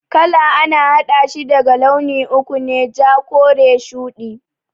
Kala a na haɗashi daga launi uku ne, ja, kore, shudi